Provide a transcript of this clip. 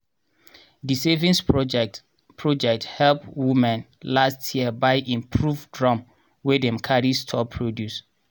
di saving project project help womne last year buy improved drum wey dem carry store produce.